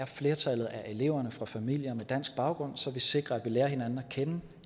flertallet af eleverne fra familier med dansk baggrund så vi sikrer at vi lærer hinanden at kende